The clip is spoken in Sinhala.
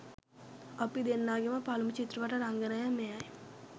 අපි දෙන්නගෙම පළමු චිත්‍රපට රංගනය මෙයයි